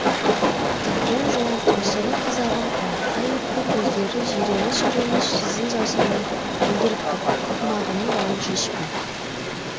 үлкен жуан тұмсығы қызарған қоңырқай өткір көздері жиреніш реніш сызын жасырмай білдіріп тұр тымағының бауын шешпей